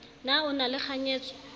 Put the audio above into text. na o na le kganyetso